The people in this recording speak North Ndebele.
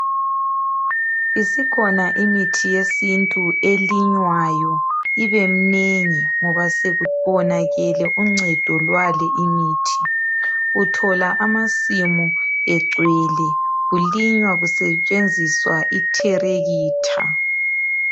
Isikhona imithi yesintu elinywayo ibemnengi ngoba sekubonakele uncedo lwale imithi. Uthola amasimu egcwele kulinywa kusetshenziswa itherekitha.